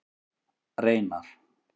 Reynar